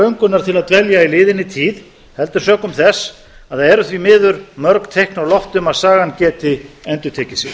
löngunar til að dvelja í liðinni tíð heldur sökum þess að það eru því miður mörg teikn á lofti um að sagan geti endurtekið sig